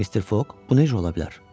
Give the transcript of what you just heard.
Mister Foq, bu necə ola bilər?